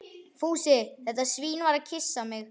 Fúsi, þetta svín, var að kyssa mig.